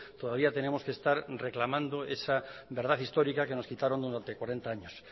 todavía tenemos que estar reclamando esa verdad histórica que nos quitaron durante cuarenta años